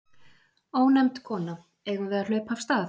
Ónefnd kona: Eigum við að hlaupa af stað?